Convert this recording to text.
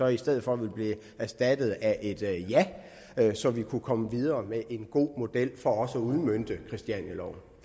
i stedet for blive erstattet af et ja så vi kunne komme videre med en god model for at udmønte christianialoven